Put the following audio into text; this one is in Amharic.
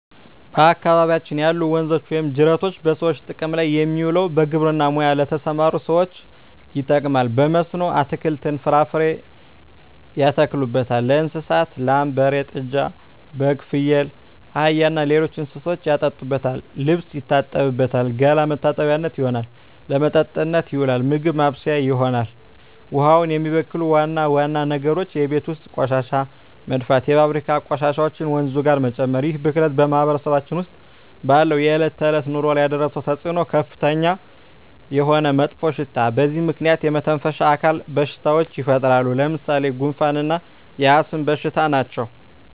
በአካባቢያችን ያሉ ወንዞች ወይም ጅረቶች በሰዎች ጥቅም ላይ የሚውለው በግብርና ሙያ ለተሠማሩ ሠዎች ይጠቅማል። በመስኖ አትክልትን፣ ፍራፍሬ ያተክሉበታል። ለእንስሳት ላም፣ በሬ፣ ጥጃ፣ በግ፣ ፍየል፣ አህያ እና ሌሎች እንስሶችን ያጠጡበታል፣ ልብስ ይታጠብበታል፣ ገላ መታጠቢያነት ይሆናል። ለመጠጥነት ይውላል፣ ምግብ ማብሠያ ይሆናል። ውሃውን የሚበክሉ ዋና ዋና ነገሮች የቤት ውስጥ ቆሻሻ መድፋት፣ የፋብሪካ ቆሻሾችን ወንዙ ጋር መጨመር ይህ ብክለት በማህበረሰባችን ውስጥ ባለው የዕለት ተዕለት ኑሮ ላይ ያደረሰው ተፅዕኖ ከፍተኛ የሆነ መጥፎሽታ በዚህ ምክንያት የመተነፈሻ አካል በሽታዎች ይፈጠራሉ። ለምሣሌ፦ ጉንፋ እና የአስም በሽታ ናቸው።